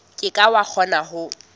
ke ke wa kgona ho